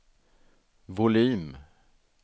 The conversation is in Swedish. volym